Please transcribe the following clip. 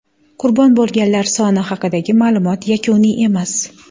Qurbon bo‘lganlar soni haqidagi ma’lumot yakuniy emas.